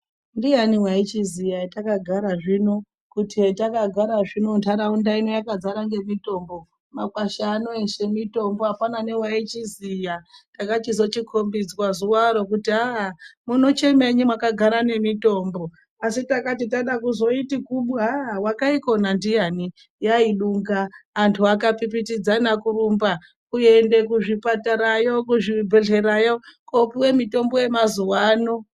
Ndiani wachiziya etakagara zvino kuti etakagara zvino nharaunda ino yakadzara ngemitombo makwasha ano eshe mitombo apana newaichiziya takachizochikombizwa zuwa ro kuti aah munochemei mwakagara nemitombo asi takati tada kuzoiti kubu aah wakaikona ndiyani yaiduka antu akapipitidzana kurumba kuende kuzvipatarayo, kuzvibhehleyayo kopiwe mitombo yemazuwa ano.